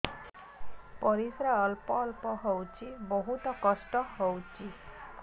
ପରିଶ୍ରା ଅଳ୍ପ ଅଳ୍ପ ହଉଚି ବହୁତ କଷ୍ଟ ହଉଚି